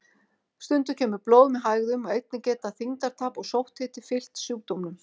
Stundum kemur blóð með hægðum og einnig geta þyngdartap og sótthiti fylgt sjúkdómnum.